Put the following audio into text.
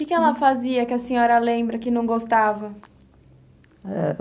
O que que ela fazia que a senhora lembra que não gostava?